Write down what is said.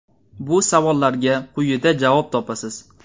Bu savollarga quyida javob topasiz.